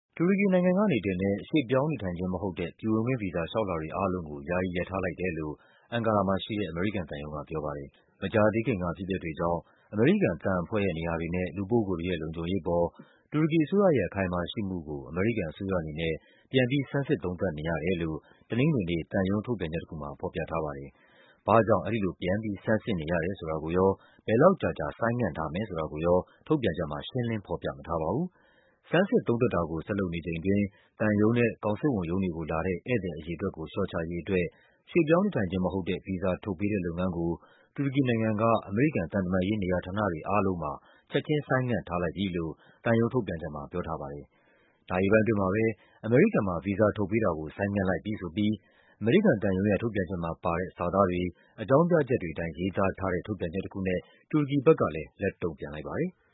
တူရကီနိုင်ငံကတင်တဲ့ ရွှေ့ပြောင်းနေထိုင်ခြင်းမဟုတ်တဲ့ ပြည်ဝင်ခွင့်ဗီဇာလျှောက်လွှာတွေအားလုံးကို ယာယီ ရပ်ထားလိုက်တယ် လို့ အန်ကာရာမှာရှိတဲ့ အမေရိကန်သံရုံုးက ပြောပါတယ်။ မကြာသေးခင်က အဖြစ်အပျက်တွေကြောင့် အမေရိကန် သံအဖွဲ့ရဲ့နေရာတွေနဲ့ လူပုဂ္ဂိုလ်တွေရဲ့လုံခြုံရေးအပေါ် တူရကီအစိုးရရဲ့ အခိုင်အမာရှိမှုကို အမေရိကန်အစိုးရအနေနဲ့ ပြန်ပြီး ဆန်းစစ်သုံးသပ်နေရတယ်လို့ တနင်္ဂနွေနေ့ သံရုံးထုတ်ပြန်ချက်တခုမှာ ဖော်ပြထားပါတယ်။ ဘာ့ကြောင့် အဲဒီလိုပြန်ပြီး ဆန်းစစ်နေရတယ်ဆိုတာကိုရော ဘယ်လောက်ကြာကြာ ဆိုင်းငံ့ထားမယ်ဆိုတာကိုရော ထုတ်ပြန် ချက်မှာ ရှင်းလင်းဖော်ပြမထားပါဘူး။ ဆန်းစစ်သုံးသပ်တာကို ဆက်လုပ်နေချိန်အတွင်း သံရုံးနဲ့ ကောင်စစ်ဝန်ရုံးတွေကိုလာတဲ့ ဧည့်သည်အရေအတွက်ကို လျှော့ချရေး အတွက် ရွှေ့ပြောင်းနေထိုင်ခြင်းမဟုတ်တဲ့ ဗီဇာထုတ်ပေးတဲ့လုပ်ငန်းကို တူရကီနိုင်ငံက အမေရိကန်သံတမန်ရေး နေရာတွေ အားလုံးမှာ ချက်ခြင်း ဆိုင်းငံထားလိုက်ပြီလို့ သံရုံးထုတ်ပြန်ချက်မှာ ပြောထားပါတယ်။ နာရီပိုင်းအတွင်းမှာပဲ အမေရိကန်မှာ ဗီဇာထုတ်ပေးတာကို ဆိုင်းငံ့လိုက်ပြီဆိုပြီး အမေရိကန်သံရုံးရဲ့ ထုတ်ပြန်ချက်မှာပါတဲ့ စာသားတွေ၊ အကြောင်းပြချက်တွေအတိုင်း ရေးသားထားတဲ့ ထုတ်ပြန်ချက်တခုနဲ့ တူရကီဘက်ကလဲ လက်တုံ့ပြန်လိုက်ပါတယ်။